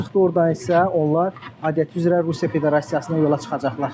Oradan isə onlar adəti üzrə Rusiya Federasiyasına yola çıxacaqlar.